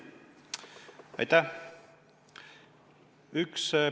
Aitäh!